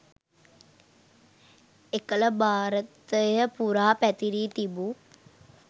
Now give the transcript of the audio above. එකල භාරතය පුරා පැතිරී තිබූ